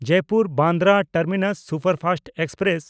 ᱡᱚᱭᱯᱩᱨ–ᱵᱟᱱᱫᱨᱟ terminus superfast express